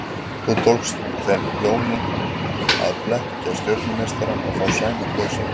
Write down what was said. Þó tekst þeim Jóni að blekkja stjörnumeistarann og fá Sæmund lausan.